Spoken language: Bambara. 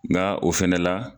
Nka o fana la